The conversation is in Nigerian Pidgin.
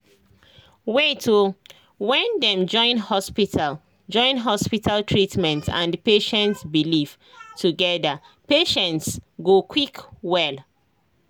wait o when dem join hospital join hospital treatment and patient belief together patients go quick well